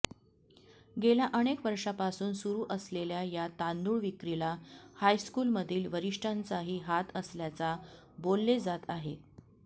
गेल्या अनेक वर्षापासून सुरु असलेल्या या तांदूळ विक्रीला हायस्कूलमधील वरिष्ठांचाही हात असल्याचा बोलले जात आहे